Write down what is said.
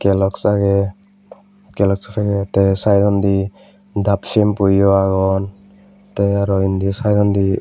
gelox agey gelox paget tey saidondi daap sempuyo agon tey aro indi saidondi.